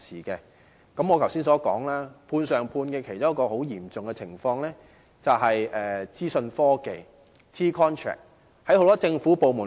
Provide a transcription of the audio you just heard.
正如我剛才所說，"判上判"的情況在資訊科技的 T-contract 中尤為嚴重。